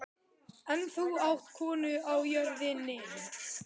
En þú átt konu á jörðinni.